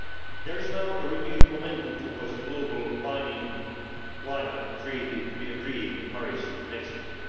There is now a renewed momentum towards a global, binding climate treaty to be agreed in Paris next year.